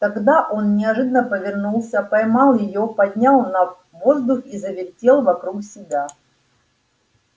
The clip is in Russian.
тогда он неожиданно повернулся поймал её поднял на воздух и завертел вокруг себя